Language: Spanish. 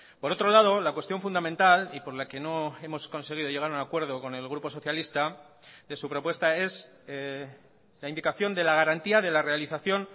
por otro lado la cuestión fundamental y por la que no hemos conseguido llegar a un acuerdo con el grupo socialista de su propuesta es la indicación de la garantía de la realización